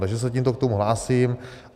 Takže se tímto k tomu hlásím.